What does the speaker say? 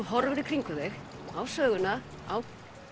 horfir í kringum þig á söguna á